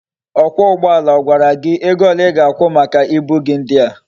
Okwa ugboala agwara gi ego ole I ga akwu maka ibu gi ndia?